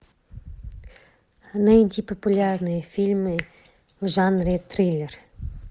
найди популярные фильмы в жанре триллер